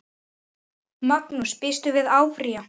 Magnús: Býstu við að áfrýja?